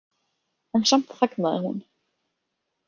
En samt þagnaði hún.